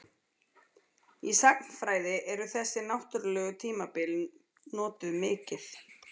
Í sagnfræði eru þessi náttúrlegu tímabil notuð mikið.